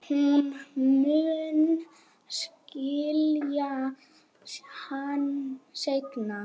HORNIN, sagði Kobbi.